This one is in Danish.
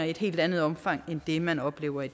i et helt andet omfang end det man oplever i